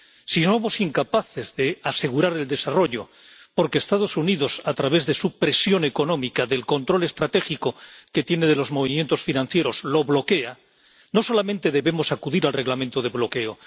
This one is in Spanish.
Si somos incapaces de asegurar el desarrollo porque Estados Unidos a través de su presión económica, del control estratégico que tiene de los movimientos financieros, lo bloquea, no solamente debemos acudir al Reglamento de bloqueo.